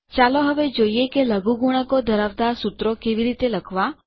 ચાલો હવે જોઈએ કે લઘુગુણકો ધરાવતાં સુત્રો કેવી રીતે લખવાં